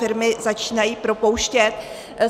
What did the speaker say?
Firmy začínají propouštět.